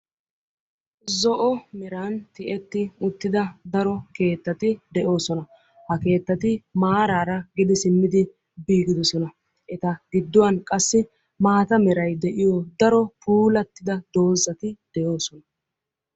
Zo"o meran tiyeti uttida daro keettati de'oosona. Ha keettati maaraara gede simmidi eqqidosona eta gidduwan qassi maata meray de'iyo daro puulattidi doozati de'oosona.